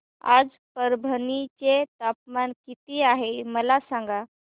आज परभणी चे तापमान किती आहे मला सांगा